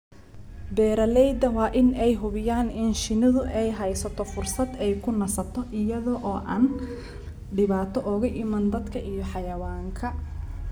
Beeralayda waa in ay hubiyaan in shinnidu ay hesho fursad ay ku nasato iyada oo aan dhibaato uga iman dadka iyo xayawaanka.